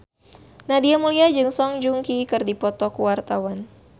Nadia Mulya jeung Song Joong Ki keur dipoto ku wartawan